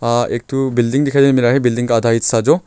हां एक ठो बिल्डिंग दिखाई दे मिल रहा है बिल्डिंग का आधा हिस्सा जो।